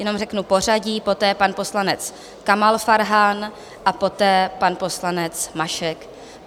Jenom řeknu pořadí, poté pan poslanec Kamal Farhan a poté pan poslanec Mašek.